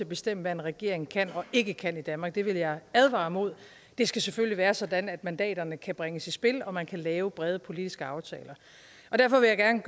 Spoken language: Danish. bestemme hvad en regering kan og ikke kan i danmark det vil jeg advare imod det skal selvfølgelig være sådan at mandaterne kan bringes i spil og at man kan lave brede politiske aftaler og derfor vil jeg gerne